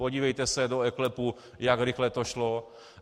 Podívejte se do EKLEPu, jak rychle to šlo.